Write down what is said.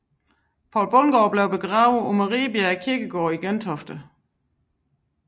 Poul Bundgaard blev begravet på Mariebjerg Kirkegård i Gentofte